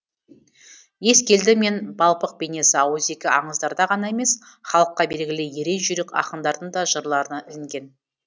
ескелді мен балпық бейнесі ауызекі аңыздарда ғана емес халыққа белгілі ерен жүйрік ақындардың да жырларына ілінген